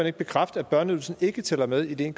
ikke bekræfte at børneydelsen ikke tæller med i de en